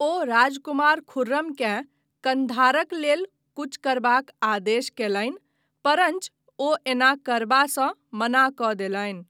ओ राजकुमार खुर्रमकेँ कन्धारक लेल कूच करबाक आदेश कयलनि परञ्च ओ ऐना करबासँ मना कऽ देलनि।